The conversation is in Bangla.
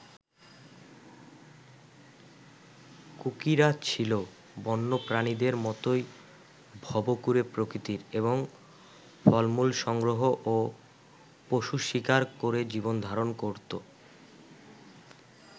কুকিরা ছিল বন্যপ্রাণীদের মতোই ভবঘুরে প্রকৃতির এবং ফলমূল সংগ্রহ ও পশু শিকার করে জীবনধারণ করত।